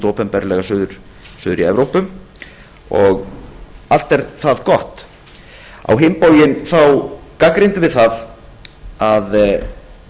opinberlega suður í evrópu allt er það gott á hinn bóginn gagnrýndum við það að